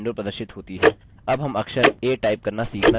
keyboard के साथ window प्रदर्शित होती है